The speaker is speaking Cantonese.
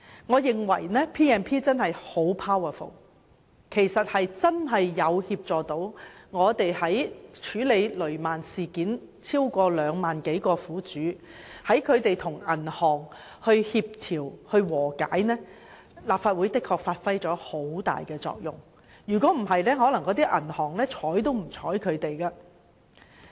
我認為《條例》權力很大，真的有助我們處理雷曼事件；在協助超過2萬名雷曼苦主與銀行達成和解方面，立法會的確發揮了很大作用，否則銀行可能會對他們置之不理。